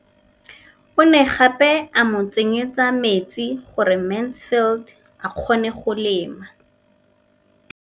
O ne gape a mo tsenyetsa metsi gore Mansfield a kgone go lema.